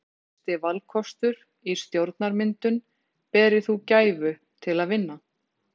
Þorbjörn: Hver er fyrsti valkostur í stjórnarmyndun berir þú gæfu til að vinna?